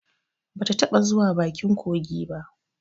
Ba ta taɓa zuwa bakin kogi ba